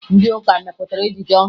Ndị ụka mepụtara ejije ọhụrụ